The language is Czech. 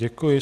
Děkuji.